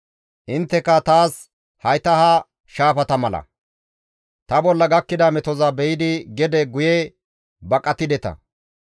Intteka taas hayta ha shaafata mala; ta bolla gakkida metoza be7idi gede guye baqatideta.